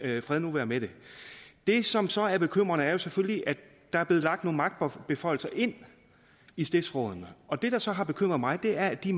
fred nu være med det det som så er bekymrende er selvfølgelig at der er blevet lagt nogle magtbeføjelser ind i stiftsrådene og det der så har bekymret mig er at de